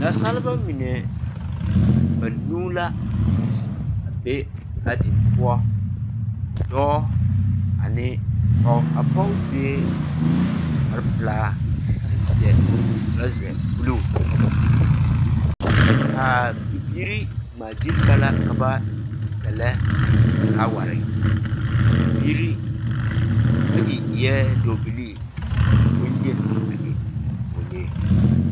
Nasaalba mine banuu la a be gaadin poɔ, dɔɔ ane pɔge. A pɔge sue kpare pelaa kyɛ seɛ toraza buluu, a bibiiri ŋmaa gyili ba la ka ba sɛlɛ felaaware, a bibiiri bayi eɛ dɔɔbilii ka bonyeni a e pɔɔlee.